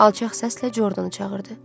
Alçaq səslə Jordanı çağırdı.